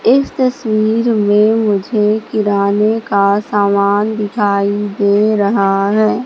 इस तस्वीर में मुझे किराने का सामान दिखाई दे रहा है।